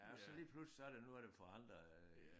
Ja og så lige pludselig så er der noget der er forandret øh